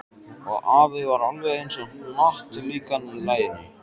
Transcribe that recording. Og afi var alveg eins og hnattlíkan í laginu.